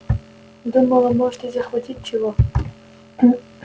думала может ей захватить чего